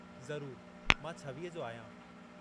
ज़रूर, मां छवीह जो आहियां।